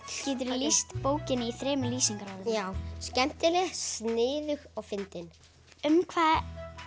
geturðu lýst bókinni í þremur lýsingarorðum já skemmtileg sniðug og fyndin um hvað